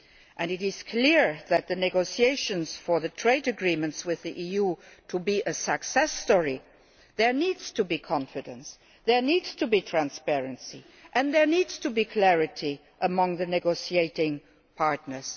And it is clear that, for the negotiations on the trade agreements with the EU to succeed, there needs to be confidence, there needs to be transparency and there needs to be clarity among the negotiating partners.